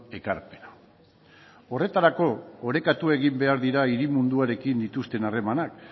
ekarpena horretarako orekatu egin behar dira hiri munduarekin dituzten harremanak